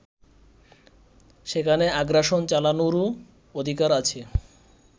সেখানে আগ্রাসন চালানোরও অধিকার আছে